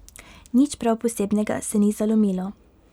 Nič prav posebnega se ni zalomilo.